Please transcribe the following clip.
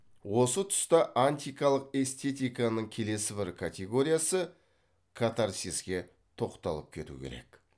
осы түста антикалық эстетиканың келесі бір категориясы катарсиске тоқталып кету керек